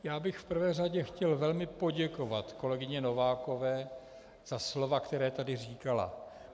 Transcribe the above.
Já bych v prvé řadě chtěl velmi poděkovat kolegyni Novákové za slova, která tady říkala.